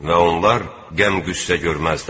Və onlar qəm-qüssə görməzlər.